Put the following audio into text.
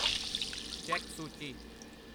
check ਸੂਚੀ